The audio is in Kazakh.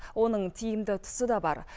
оның тиімді тұсы да бар